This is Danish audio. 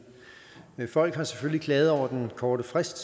men folk har selvfølgelig klaget over den korte frist